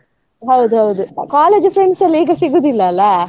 ಹೌದೌದು. college friends ಎಲ್ಲ ಈಗ ಸಿಗುದಿಲ್ಲ ಅಲಾ.